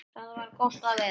Þar var gott að vera.